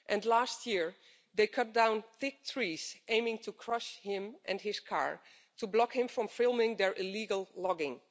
Last year, they cut down big trees in aiming to crush him and his car, to block him from filming their illegal logging.